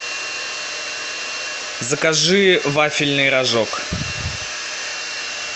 закажи вафельный рожок